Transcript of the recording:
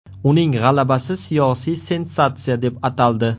Uning g‘alabasi siyosiy sensatsiya deb ataldi.